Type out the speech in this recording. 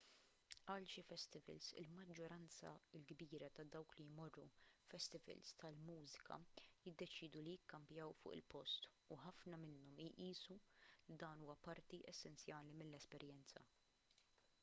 għal xi festivals il-maġġoranza l-kbira ta' dawk li jmorru festivals tal-mużika jiddeċiedu li jikkampjaw fuq il-post u ħafna minnhom jqisu li dan huwa parti essenzjali mill-esperjenza